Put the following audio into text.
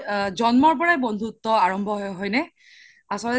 জন্মৰ পৰাই বন্ধুত্ব আৰম্ভ হয় নে আচল্তে